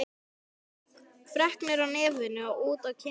Hún var með freknur á nefinu og út á kinnbeinin.